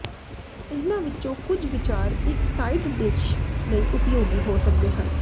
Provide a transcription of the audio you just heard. ਇਹਨਾਂ ਵਿੱਚੋਂ ਕੁਝ ਵਿਚਾਰ ਇੱਕ ਸਾਈਡ ਡਿਸ਼ ਲਈ ਉਪਯੋਗੀ ਹੋ ਸਕਦੇ ਹਨ